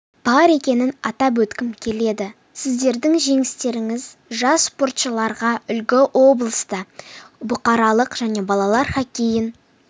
бар екенін атап өткім келеді сіздердің жеңістеріңіз жас спортшыларға үлгі облыста бұқаралық және балалар хоккейін